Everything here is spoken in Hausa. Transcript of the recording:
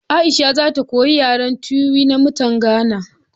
Aisha za ta koyi yaren Tiwi na mutan Gana